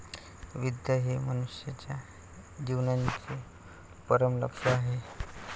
विद्या हे मनुष्याच्या जीवनाचे परमलक्ष्य आहे.